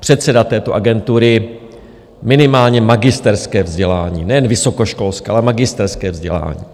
předseda této agentury minimálně magisterské vzdělání, nejen vysokoškolské, ale magisterské vzdělání.